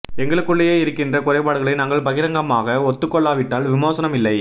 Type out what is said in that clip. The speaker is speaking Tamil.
எங்களுக்குள்ளேயே இருக்கிற குறைபாடுகளை நாங்கள் பகிரங்கமாக ஒத்துக்கொள்ளா விட்டால் விமோசனம் இல்லை